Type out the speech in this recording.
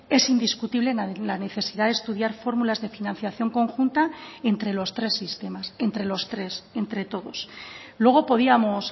es indiscutible la necesidad de estudiar fórmulas de financiación conjunta entre los tres sistemas entre los tres entre todos luego podíamos